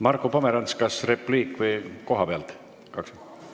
Marko Pomerants, kas repliik või kohapealt?